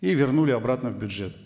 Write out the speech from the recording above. и вернули обратно в бюджет